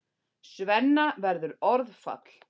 Svenna verður orðfall.